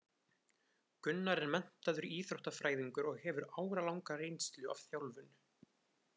Gunnar er menntaður íþróttafræðingur og hefur áralanga reynslu af þjálfun.